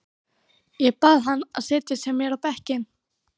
Ég bað hann að setjast hjá mér á bekkinn.